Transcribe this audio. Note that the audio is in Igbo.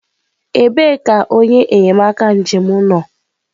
ebee ka onye enyemaka njem nọ?